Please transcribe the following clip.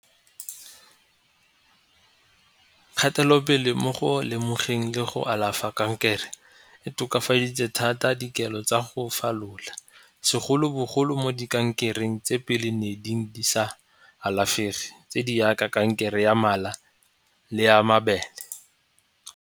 Kgatelopele mo go lemogeng le go alafa kankere e tokafaditse thata dikelo tsa go falola segolobogolo mo di kankereng tse pele ne di sa alafege tse di yaka kankere ya mala le ya mabele.